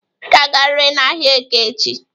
Ị ga-agarịrị n'ahịa Eke echi!